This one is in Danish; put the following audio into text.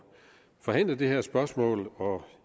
forhandle om det her spørgsmål og